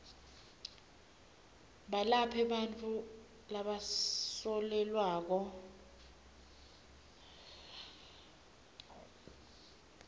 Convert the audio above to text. belaphe bantfu labasolelwako